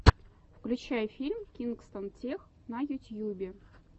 включай фильм кингстон тех на ютьюбе